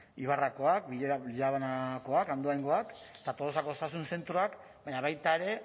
ibarrakoak andoaingoak eta tolosako osasun zentroak baina baita ere